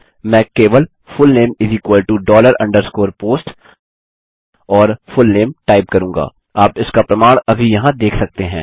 मैं केवल full name underscore post और फुलनेम टाइप करूँगा आप इसका प्रमाण अभी यहाँ देख सकते हैं